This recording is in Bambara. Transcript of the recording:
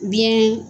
Biɲɛ